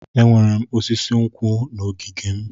Enwere m osisi nkwụ n'ogige m.